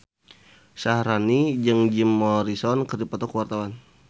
Syaharani jeung Jim Morrison keur dipoto ku wartawan